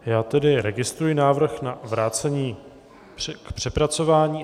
Já tedy registruji návrh na vrácení k přepracování.